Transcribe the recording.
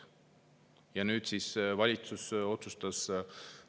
Ja nüüd siis valitsus otsustas …